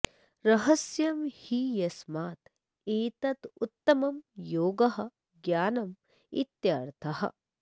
रहस्यं हि यस्मात् एतत् उत्तमं योगः ज्ञानं इत्यर्थः